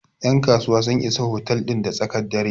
yankasuwa Isa otal din da tsakar dare